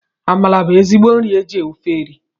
Amala bụ ezigbo nri e ji ofe eri